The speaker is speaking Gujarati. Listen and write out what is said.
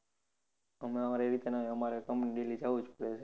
હમણાં આમરે આવી રીતે ના હોય અમારે company daily જવું જ પડે છે